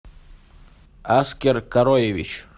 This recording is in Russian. аскер короевич